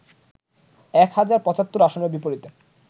এক হাজার ৭৫ আসনের বিপরীতে